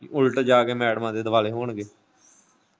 ਉੱਲਟ ਜਾ ਕੇ ਮੈਡਮਾਂ ਦੇ ਦੁਆਲੇ ਹੋਣਗੇ ।